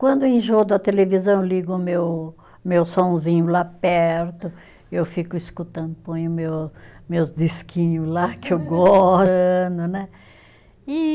Quando eu enjoo da televisão, ligo o meu, meu sonzinho lá perto, eu fico escutando, ponho o meu, meus disquinho lá, que eu